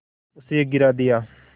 उसे गिरा दिया